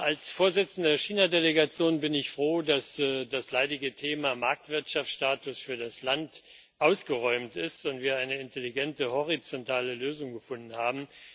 Als Vorsitzender der China Delegation bin ich froh, dass das leidige Thema Marktwirtschaftsstatus für das Land ausgeräumt ist und wir eine intelligente horizontale Lösung gefunden haben.